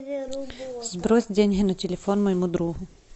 сбрось деньги на телефон моему другу